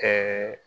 Ɛɛ